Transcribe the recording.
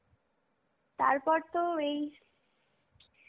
তারপর তো এই